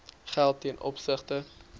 geld ten opsigte